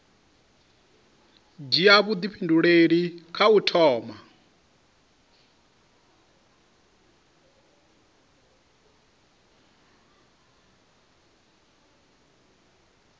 dzhia vhuifhinduleli kha u thoma